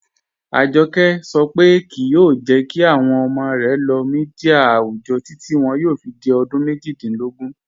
Ajọkẹ sọ pe kíí yoo jẹ́ kí awọn ọmọ rẹ lóò míḍíà awùjọ́ títi wọn yóò fi di ọdún mẹ́jìdílógún